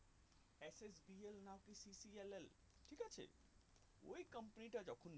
B L L ঠিক আছে ওই company তে যখন